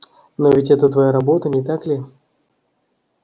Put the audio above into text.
но ведь это твоя работа не так ли